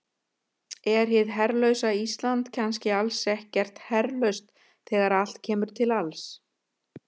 Er hið herlausa Ísland kannski alls ekkert herlaust þegar allt kemur til alls?